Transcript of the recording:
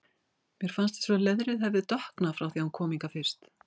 Mér fannst eins og leðrið hefði dökknað frá því hann kom hingað fyrst.